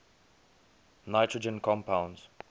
nitrogen compounds